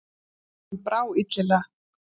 Honum brá illilega.